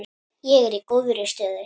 Ég er í góðri stöðu.